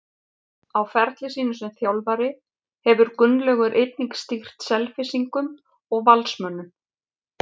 Á ferli sínum sem þjálfari hefur Gunnlaugur einnig stýrt Selfyssingum og Valsmönnum.